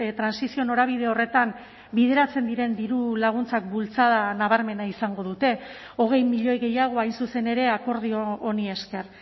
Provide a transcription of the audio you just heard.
trantsizio norabide horretan bideratzen diren dirulaguntzak bultzada nabarmena izango dute hogei milioi gehiago hain zuzen ere akordio honi esker